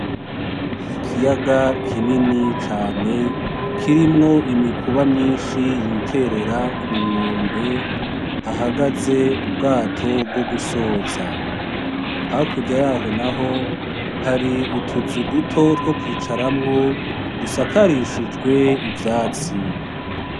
Ikiyaga kinini cane, kirimwo imikuba myinshi yiterera ku nkombe hahagaze ubwato bwo gusoza, hakurya yaho naho hari utuzu duto two kwicaramwo dusakarishijwe ivyatsi.